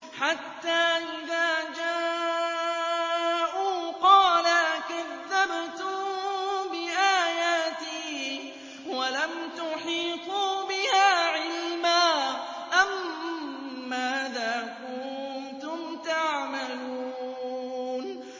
حَتَّىٰ إِذَا جَاءُوا قَالَ أَكَذَّبْتُم بِآيَاتِي وَلَمْ تُحِيطُوا بِهَا عِلْمًا أَمَّاذَا كُنتُمْ تَعْمَلُونَ